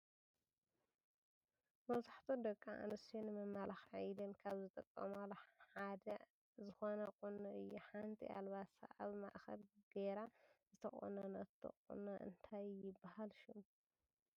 መብዛሕቲኡ ደቂ ኣንስትዮ ንመመላኪዒ ኢለን ካብ ዝጥቀማሉ ሓደ ዝኮነ ቁኖ እዩ። ሓንቲ ኣልባሳ ኣብ ማእከል ገይራ ዝተቆኖኖቶ ቁኖ እንታይ ይብሃል ሽሙ?